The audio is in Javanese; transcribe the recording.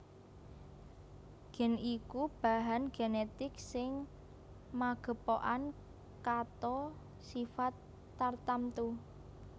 Gen iku bahan genetik sing magepokan kato sifat tartamtu